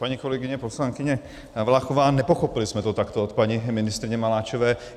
Paní kolegyně poslankyně Valachová, nepochopili jsme to takto od paní ministryně Maláčové.